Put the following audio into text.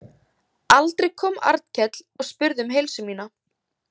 Aldrei kom Arnkell og spurði um heilsu mína.